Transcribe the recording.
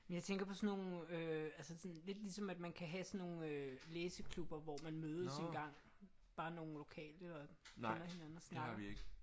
Jeg tænker på sådan nogle øh altså sådan lidt ligesom at man kan have sådan øh nogle læseklubber hvor man mødes engang? Bare nogle lokale og finder hinanden at snakke?